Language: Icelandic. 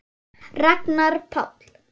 Ragnar Páll.